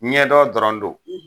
Ɲɛ dɔn dɔrɔn don.